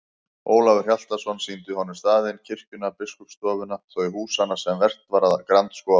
Ólafur Hjaltason sýndi honum staðinn, kirkjuna, biskupsstofuna, þau húsanna sem vert var að grandskoða.